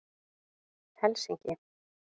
Helsinki